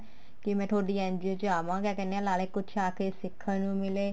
ਕੀ ਮੈਂ ਤੁਹਾਡੀ NGO ਚ ਆਵਾ ਕਿਆ ਕਹਿਨੇ ਆ ਨਾਲੇ ਕੁੱਝ ਆ ਕੇ ਸਿੱਖਣ ਨੂੰ ਮਿਲੇ